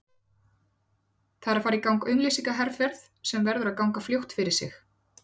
Það er að fara í gang auglýsingaherferð sem verður að ganga fljótt fyrir sig.